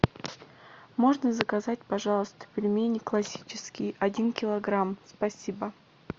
можно заказать пожалуйста пельмени классические один килограмм спасибо